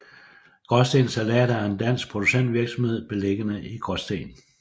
Graasten Salater er en dansk producentvirksomhed beliggende i Gråsten